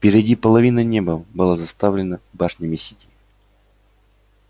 впереди половина неба была заставлена башнями сити